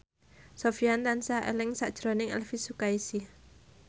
Sofyan tansah eling sakjroning Elvi Sukaesih